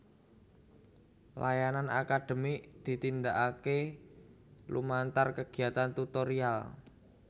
Layanan akademik ditindakake lumantar kegiatan tutorial